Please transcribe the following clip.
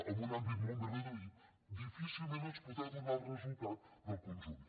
en un àmbit molt més reduït difícilment ens podrà donar el resultat del conjunt